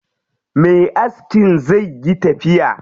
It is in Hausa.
Me askin zai yi tafiya.